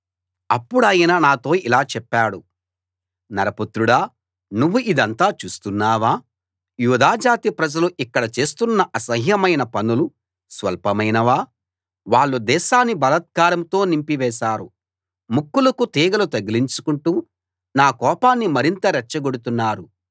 అప్పుడాయన నాతో ఇలా చెప్పాడు నరపుత్రుడా నువ్వు ఇదంతా చూస్తున్నావా యూదా జాతి ప్రజలు ఇక్కడ చేస్తున్న అసహ్యమైన పనులు స్వల్పమైనవా వాళ్ళు దేశాన్ని బలాత్కారంతో నింపివేశారు ముక్కులకు తీగలు తగిలించుకుంటూ నా కోపాన్ని మరింత రెచ్చగొడుతున్నారు